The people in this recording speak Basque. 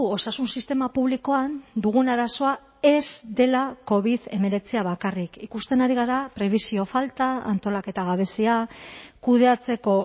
osasun sistema publikoan dugun arazoa ez dela covid hemeretzia bakarrik ikusten ari gara prebisio falta antolaketa gabezia kudeatzeko